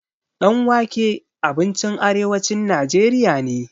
Ɗan wake abincin arewacin najeriya ne.